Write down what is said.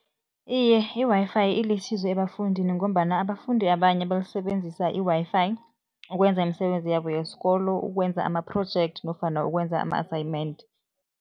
Iye, i-Wi-Fi ilisizo ebafundini ngombana abafundi abanye basebenzisa i-Wi-Fi ukwenza imisebenzi yabo yesikolo, ukwenza amaprojekthi nofana ukwenza ama-assignment.